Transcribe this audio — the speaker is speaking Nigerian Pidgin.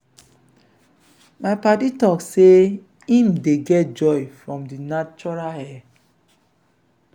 my paddy talk sey im dey get joy from di natural air.